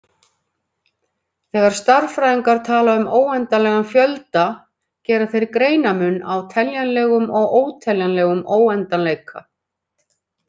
Þegar stærðfræðingar tala um óendanlegan fjölda gera þeir greinarmun á teljanlegum- og óteljanlegum óendanleika.